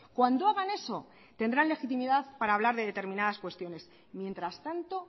cuando hagan eso tendrán legitimidad para hablar de determinadas cuestiones mientras tanto